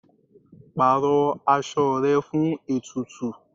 Pàrọ aṣọ rẹ fún ètùtù.